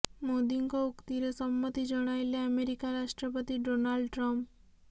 ମୋଦିଙ୍କ ଉକ୍ତିରେ ସମ୍ମତି ଜଣାଇଲେ ଆମେରିକା ରାଷ୍ଟ୍ରପତି ଡୋନାଲ୍ଡ ଟ୍ରମ୍ଫ